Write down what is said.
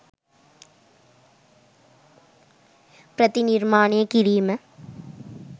ප්‍රතිනිර්මාණය කිරීම